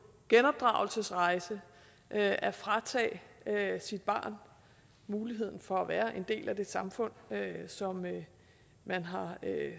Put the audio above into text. genopdragelsesrejse og at at fratage sit barn muligheden for at være en del af det samfund som man har